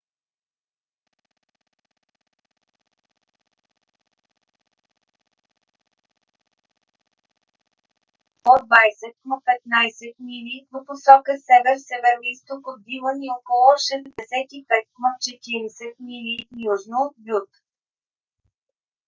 епицентърът на земетресението е бил на около 20 км 15 мили в посока север-североизток от дилън и около 65 км 40 мили южно от бют